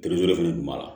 fɛnɛ kun b'a la